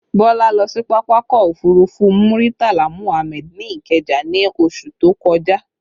Bọlá lọ sí pápákọ̀ òfurufú Muritala Muhammad ní Ikeja ní oṣù tó kọjá